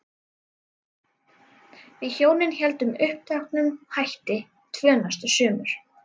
Við hjónin héldum uppteknum hætti tvö næstu sumur.